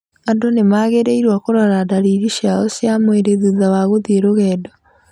Andũ nĩ magĩrĩirũo kũrora ndariri ciao cia mwĩrĩ thutha wa gũthiĩ rũgendo